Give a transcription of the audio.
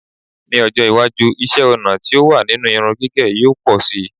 Ní́ ọjọ́ iwájú, iṣẹ́-ọnà tí ó wà nínú irun gígẹ̀ yóò pọ̀ síi.